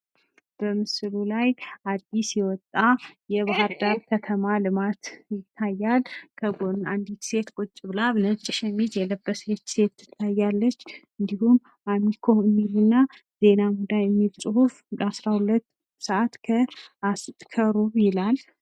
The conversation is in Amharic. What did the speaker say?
በምስሉ ላይ አድስ የወጣ የባህርዳር ከተማ ልማት ይታያል። በጎን አንዲት ሴት ቁጭ ብላ ነጭ ሸሚዝ የለበሰች ሴት ትታያለች። እንድሁም አሚኮ የሚልና ዜና ሙዳይ የሚል ጽሑፍ አስራ ሁለት ሰአት ከሩብ ይላል።